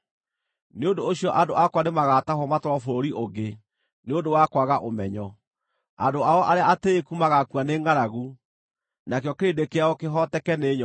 Nĩ ũndũ ũcio andũ akwa nĩmagatahwo matwarwo bũrũri ũngĩ nĩ ũndũ wa kwaga ũmenyo; andũ ao arĩa atĩĩku magaakua nĩ ngʼaragu, nakĩo kĩrĩndĩ kĩao kĩhooteke nĩ nyoota.